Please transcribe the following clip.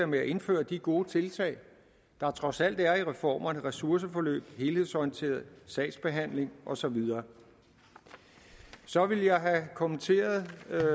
med at indføre de gode tiltag der trods alt er i reformerne ressourceforløb helhedsorienteret sagsbehandling og så videre så ville jeg have kommenteret